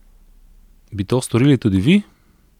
Bi to storili tudi vi?